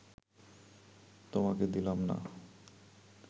তোমাকে দিলাম না